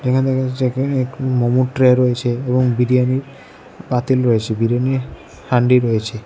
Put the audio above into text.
এখানে দেখা যাচ্ছে মোমোর ট্রে রয়েছে এবং বিরিয়ানির পাতিল রয়েছে বিরিয়ানির হান্ডি রয়েছে।